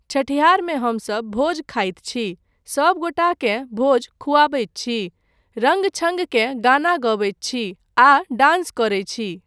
छठिहारमे हमसब भोज खाइत छी, सब गोटाकेँ भोज खुआबैत छी, रङ्ग छङ्गके गाना गबैत छी आ डान्स करैत छी।